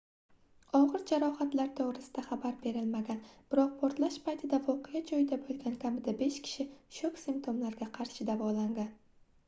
ogʻir jarohatlar toʻgʻrisida xabar berilmagan biroq portlash paytida voqea joyida boʻlgan kamida besh kishi shok simtomlariga qarshi davolangan